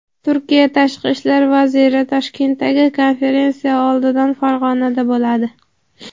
Turkiya Tashqi ishlar vaziri Toshkentdagi konferensiya oldidan Farg‘onada bo‘ladi.